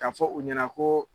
Ka fɔ u ɲɛna ko